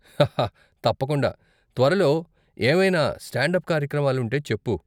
హా హా తప్పకుండా! త్వరలో ఏవైనా స్టాండ్ అప్ కార్యక్రమాలుంటే చెప్పు.